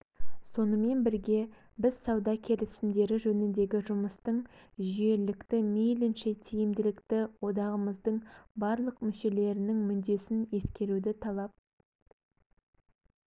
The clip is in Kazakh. сонымен бірге біз сауда келісімдері жөніндегі жұмыстың жүйелілікті мейлінше тиімділікті одағымыздың барлық мүшелерінің мүддесін ескеруді талап